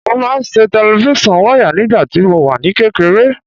Mo máa ń ṣe tẹlifón wayà nígbàtí mo wà ní kékeré